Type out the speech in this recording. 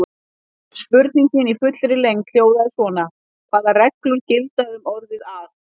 Spurningin í fullri lengd hljóðaði svona: Hvaða reglur gilda um orðið að?